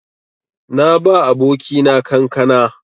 Na ba abokina kankana.